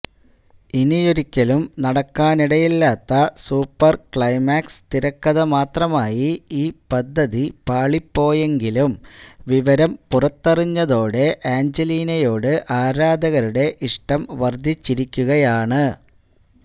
ഇനിയൊരിക്കലും നടക്കാനിടയില്ലാത്ത super climax തിരക്കഥ മാത്രമായി ഈ പദ്ധതി പാളിപ്പോയെങ്കിലും വിവരം പുറത്തറിഞ്ഞതോടെ ആഞ്ജലീനയോട് ആരാധകരുടെ ഇഷ്ടം വര്ധിച്ചിരിക്കുകയാണ്